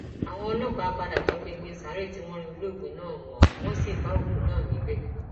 àwọn ọlọpàá padà topinpin sáré tí wọn rí olóògbé náà mọ tí wọn sì bá òkú náà níbẹ